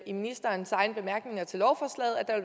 i ministerens egne bemærkninger til lovforslaget at der